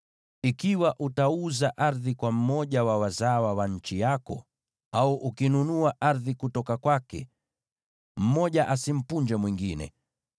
“ ‘Ikiwa utauza ardhi kwa mmoja wa wazawa wa nchi yako, au ukinunua ardhi kutoka kwake, mmoja asimpunje mwingine.